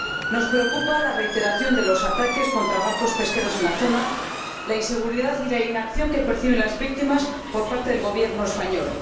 Nos preocupa la reiteración de los ataques contra barcos pesqueros en la zona, la inseguridad y la inacción que perciben las víctimas por parte del Gobierno español